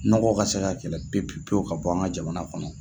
Nɔgɔ ka se ka kɛlɛ pewu pewu ka bɔ an ka jamana kɔnɔ.